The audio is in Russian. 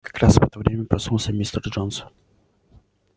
как раз в это время проснулся мистер джонс